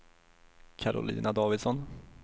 Karolina Davidsson